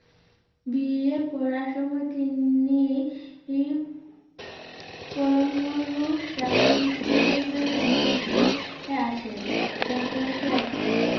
বিয়ে পড়ারসময় তিনি~ই পরম পুরুষ রামকৃষ্ণদেবের সংপরশে আসেন সংপরশে আসেন